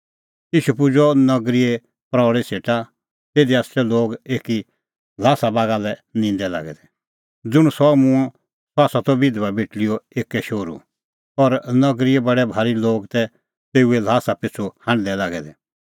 ईशू पुजअ नगरीए प्रऊल़ी सेटा तिधी तै लोग एकी ल्हासा बागा लै निंदै लागै दै ज़ुंण सह मूंअ सह त बिधबा बेटल़ीओ एक्कै शोहरू और नगरीए बडै भारी लोग तै तेऊए ल्हासा पिछ़ू हांढदै लागै दै